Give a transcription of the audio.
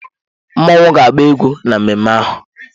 Mmọnwụ ga-agba egwú na mmemme ahụ.